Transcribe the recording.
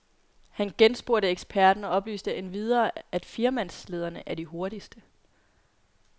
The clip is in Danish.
Han genspurgte eksperten, og oplyste endvidere, at firemands slæderne er de hurtigste.